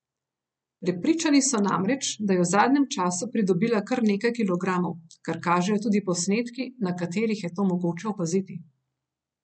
Prepričani so namreč, da je v zadnjem času pridobila kar nekaj kilogramov, kar kažejo tudi posnetki, na katerih je to mogoče opaziti.